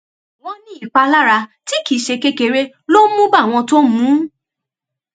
wọn ní ìpalára tí kì í ṣe kékeré ló ń mú bá àwọn tó ń mú un